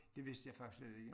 Det vidste jeg faktisk slet ikke